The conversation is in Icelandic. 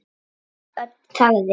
Örn þagði.